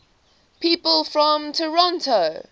people from toronto